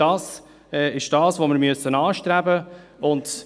Das ist, was wir anstreben müssen.